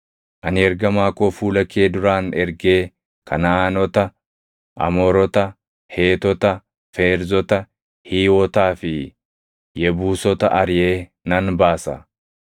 Ani ergamaa koo fuula kee duraan ergee Kanaʼaanota, Amoorota, Heetota, Feerzota, Hiiwotaa fi Yebuusota ariʼee nan baasa.